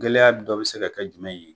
Gɛlɛya dɔ bi se ka jumɛn ye ?